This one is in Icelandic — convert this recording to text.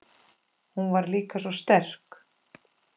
Hún var líka svo sterk.